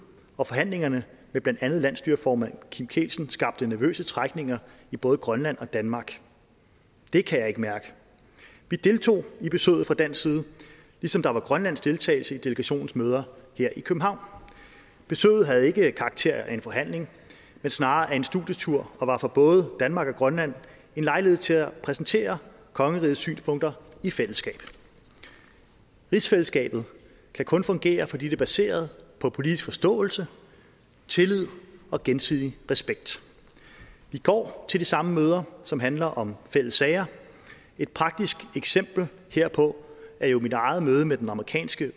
og forhandlingerne med blandt andet landsstyreformand kim kielsen skabte nervøse trækninger i både grønland og danmark det kan jeg ikke mærke vi deltog i besøget fra dansk side ligesom der var grønlandsk deltagelse i delegationens møder her i københavn besøget havde ikke karakter af en forhandling men snarere af en studietur og var for både danmark og grønland en lejlighed til at præsentere kongerigets synspunkter i fællesskab rigsfællesskabet kan kun fungere fordi det er baseret på politisk forståelse tillid og gensidig respekt vi går til de samme møder som handler om fælles sager et praktisk eksempel herpå er jo mit eget møde med den amerikanske